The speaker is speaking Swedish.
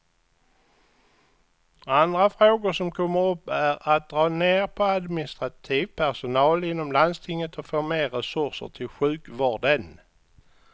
Andra frågor som kommer upp är att dra ner på administrativ personal inom landstinget och få mer resurser till sjukvården.